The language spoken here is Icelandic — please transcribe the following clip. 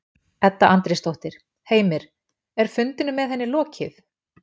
Edda Andrésdóttir: Heimir, er fundinum með henni lokið?